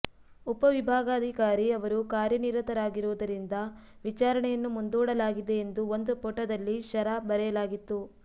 ಉಪವಿಭಾಗಾಧಿಕಾರಿ ಅವರು ಕಾರ್ಯನಿರತರಾಗಿರುವುದರಿಂದ ವಿಚಾರಣೆಯನ್ನು ಮುಂದೂಡಲಾಗಿದೆ ಎಂದು ಒಂದು ಪುಟದಲ್ಲಿ ಷರಾ ಬರೆಯಲಾಗಿತ್ತು